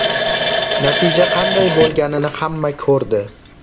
Natija qanday bo‘lganini hamma ko‘rdi.